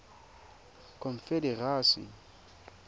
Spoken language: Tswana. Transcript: confederacy